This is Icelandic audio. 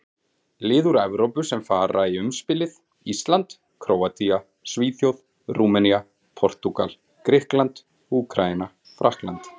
Lið úr Evrópu sem fara í umspilið: Ísland, Króatía, Svíþjóð, Rúmenía, Portúgal, Grikkland, Úkraína, Frakkland.